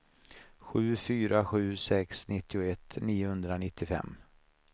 sju fyra sju sex nittioett niohundranittiofem